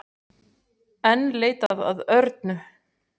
Enn leitað að Örnu